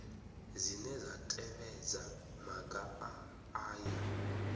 dzine dza tevhedza maga aya